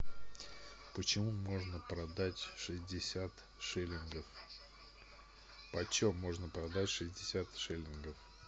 почему можно продать шестьдесят шиллингов почем можно продать шестьдесят шиллингов